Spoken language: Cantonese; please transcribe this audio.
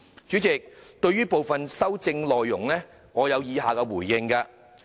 主席，對於部分修正案的內容，我有以下回應。